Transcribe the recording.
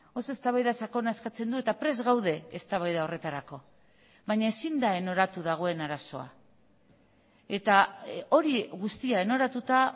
oso eztabaida sakona eskatzen du eta prest gaude eztabaida horretarako baina ezin da enoratu dagoen arazoa eta hori guztia enoratuta